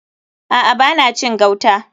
A'a. Ba na cin gauta.